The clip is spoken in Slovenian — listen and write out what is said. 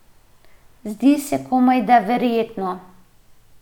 Zdi se komajda verjetno.